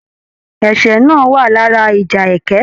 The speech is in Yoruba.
Ẹ̀sẹ́ náà wà lára ìjà ẹkẹ.